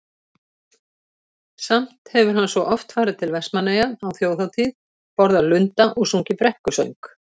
Samt hefur hann svo oft farið til Vestmannaeyja á Þjóðhátíð, borðað lunda og sungið brekkusöng.